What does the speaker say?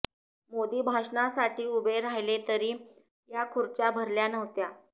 मोदी भाषणासाठी उभे राहिले तरी या खुर्च्या भरल्या नव्हत्या